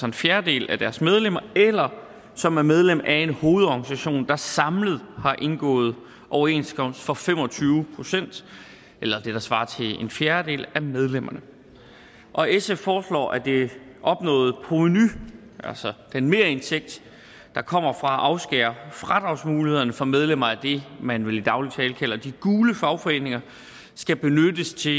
en fjerdedel af deres medlemmer eller som er medlem af en hovedorganisation der samlet har indgået overenskomst for fem og tyve procent eller det der svarer til en fjerdedel af medlemmerne og sf foreslår at det opnåede provenu altså den merindtægt der kommer fra at afskære fradragsmulighederne for medlemmer af det man vel i daglig tale kalder de gule fagforeninger skal benyttes til